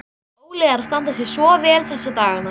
Óli er að standa sig svo vel þessa dagana.